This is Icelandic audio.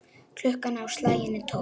Klukkan á slaginu tólf.